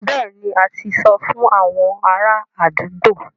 Bẹ́ẹ̀ni, a ti sọ fún àwọn ará àdúgbò